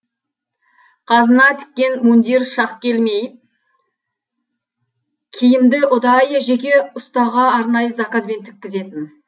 қазына тіккен мундир шақ келмей киімді ұдайы жеке ұстаға арнайы заказбен тіккізетін